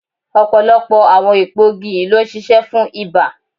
Ọ̀pọ̀lọpọ̀ àwọn èpo igi yìí ló ń ṣiṣẹ́ fún ibà.